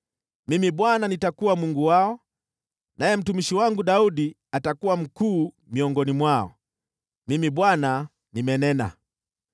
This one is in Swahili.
Mimi Bwana nitakuwa Mungu wao, naye mtumishi wangu Daudi atakuwa mkuu miongoni mwao. Mimi Bwana nimenena.